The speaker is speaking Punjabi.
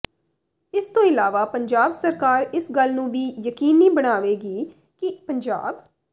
ਇਸ ਤੋਂ ਇਲਾਵਾ ਪੰਜਾਬ ਸਰਕਾਰ ਇਸ ਗੱਲ ਨੂੰ ਵੀ ਯਕੀਨੀ ਬਣਾਵੇਗੀ ਕਿ ਪੰਜਾਬ